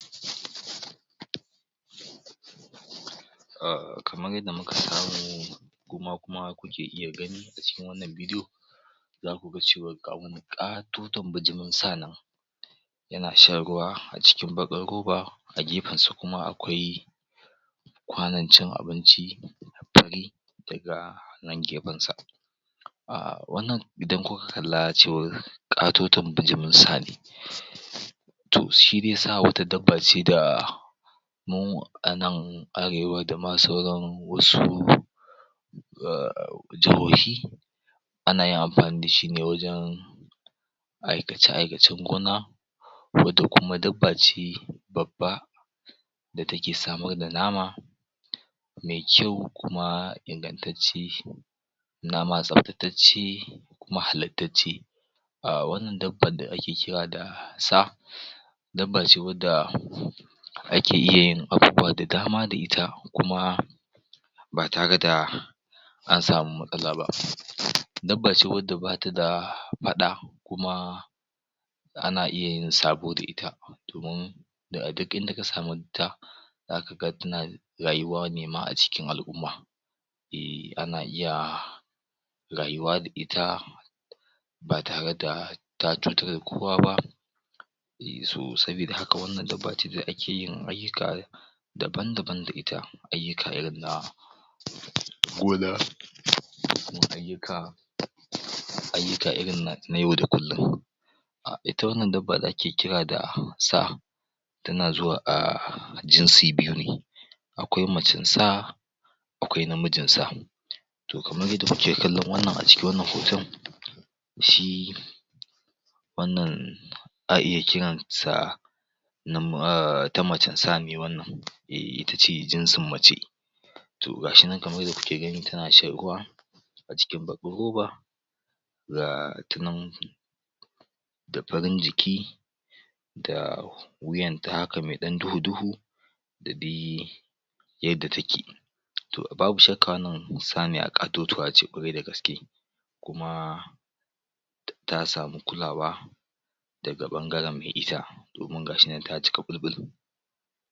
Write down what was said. um kamar yanda muka samu ku ma kuma kuke iya gani a cikin wannan bidi'o zaku ga cewar ga wani ƙatoton bijimin sa nan yana shan ruwa a cikin baƙar roba a gefen sa kuma akwai kwanon cin abinci fari daga nan gefen sa um wannan idan kuka kalla cewar ƙatoton bijimin sa ne to shi dai sa wata dabba ce da mu a nan arewa da ma sauran wasu um jahohi ana yin amfani da shi ne wajen aikace-aikacen gona wanda kuma dabba ce babba da take samar da nama me kyau kuma ingantacce nama tsabtatacce kuma halattacce um wannan dabban da ake kira da sa dabba ce wanda ake iya yin abubuwa da dama da ita kuma ba tare da an samu matsala ba dabba ce wanda bata da faɗa kuma ana iya yin sabo da ita domin zaka ga tana rayuwa ne ma a cikin al'umma um ana iya rayuwa da ita ba tare da ta cutar da kowa ba so sabida haka wannan dabbace da ake yin ayyuka daban-daban da ita ayyuka irin na gona da kuma ayyuka ayyuka irin na yau da kullum ita wannan dabba da ake kira da sa tana zuwa um a jinsi biyu ne akwai macen sa akwai namijin sa to kamar yanda kuke kallo wannan a cikin wannan hoton shi wannan a iya kiransa ta macen sa ne wannan um ita ce jinsin mace to ga shi nan kamar yanda kuke gani tana shan ruwa a cikin baƙar roba ga ta nan da farin jiki da wuyan ta haka me ɗan duhu-duhu da dai yadda take to babu shakka wannan saniya ƙatotuwa ce ƙwarai da gaske kuma ta samu kulawa daga ɓangaren me ita domin ga shi nan ta cika ɓul-ɓul